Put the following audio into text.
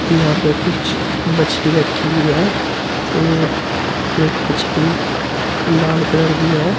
यहां पे कुछ मछली रखी हुई है और एक मछली लाल कलर की है।